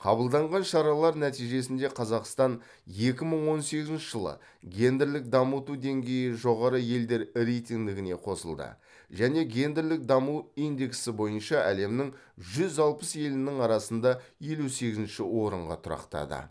қабылданған шаралар нәтижесінде қазақстан екі мың он сегізінші жылы гендерлік дамыту деңгейі жоғары елдер рейтингіне қосылды және гендерлік даму индексі бойынша әлемнің жүз алпыс елінің арасында елу сегізінші орынға тұрақтады